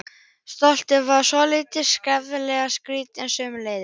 Stoltið var svolítið skjálfandi og skriftin sömuleiðis.